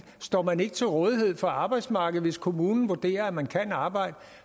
står man ikke til rådighed for arbejdsmarkedet hvis kommunen vurderer at man kan arbejde